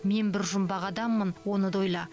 мен бір жұмбақ адаммын оны да ойла